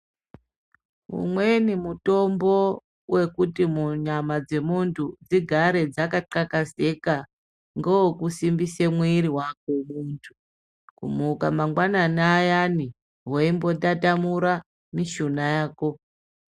Umweni mutombo wekuti munyama dzemuntu dzigare dzakatxakazeka ,ngewe kusimbisa mwiri vako muntu. Kumuka ngwanani ayaani veimbotatamura mishuna yako.